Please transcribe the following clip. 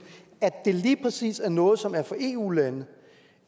at det lige præcis er noget som er for eu lande